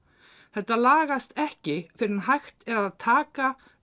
þetta lagast ekki fyrr en hægt er að taka